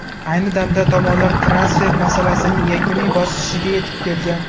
Ayni damda tomonlar transfer masalasining yakuniy bosqichiga yetib kelgan.